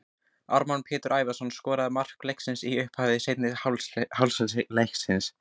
Ármann Pétur Ævarsson skoraði ein mark leiksins í upphafi seinni hálfleiks.